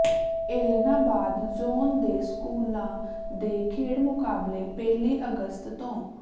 Ellenabad zone ਦੇ ਸਕੂਲਾਂ ਦੇ ਖੇਡ ਮੁਕਾਬਲੇ ਪਹਿਲੀ ਅਗਸਤ ਤੋਂ